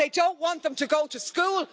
That they don't want them to go to school?